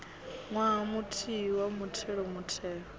ṅwaha muthihi wa muthelo muthelo